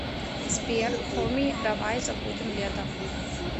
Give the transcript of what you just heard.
сбер хоми давай забудем лето